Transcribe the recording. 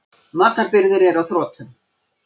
Matarbirgðir eru á þrotum.